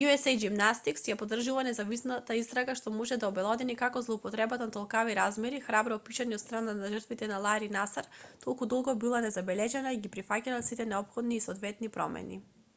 usa gymnastics ја поддржувува независната истрага што може да обелодени како злоупотребата од толкави размери храбро опишана од страна на жртвите на лари насар толку долго била незабележана и ги прифаќа сите неопходни и соодветни промени